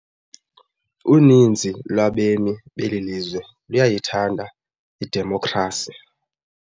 Uninzi lwabemi beli lizwe luyayithanda idemokhrasi.